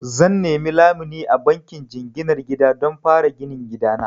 Zan nemi lamuni a bankin jinginar gida don fara ginin gida na.